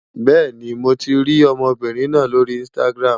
Bẹ́ẹ̀ni, mo ti rí ọmọbìnrin náà lórí Instagram.